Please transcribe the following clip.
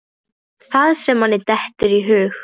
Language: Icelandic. Það sem manni dettur í hug!